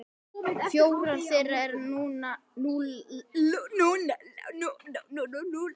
Fjórar þeirra eru nú látnar.